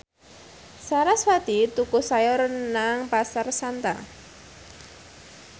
sarasvati tuku sayur nang Pasar Santa